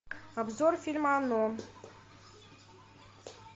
обзор фильма оно